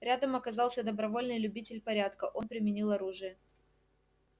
рядом оказался добровольный любитель порядка он применил оружие